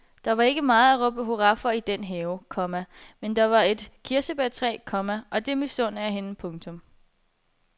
Der var ikke meget at råbe hurra for i den have, komma men der var et kirsebærtræ, komma og det misunder jeg hende. punktum